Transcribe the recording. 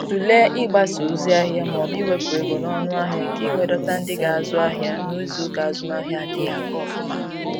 Tụlee ịgbasa ozi ahịa maọbụ iwepụ ego n'ọnụ ahịa, ka i wee dọta ndị ga-azụ ahịa n'izuuka azụmahịa adịghị aga ofuma.